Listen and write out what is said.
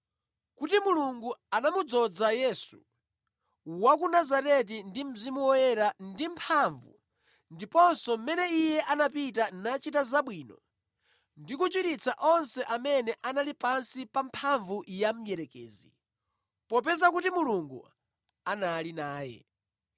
kuti Mulungu, anamudzoza Yesu, wa ku Nazareti ndi Mzimu Woyera ndi mphamvu ndiponso mmene Iye anapita nachita zabwino ndi kuchiritsa onse amene anali pansi pa mphamvu ya mdierekezi, popeza kuti Mulungu anali naye.